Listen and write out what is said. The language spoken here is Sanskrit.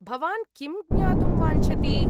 भवान् किं ज्ञातुं वाञ्छति?